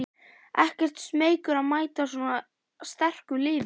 Ekkert smeykur að mæta svona sterku liði?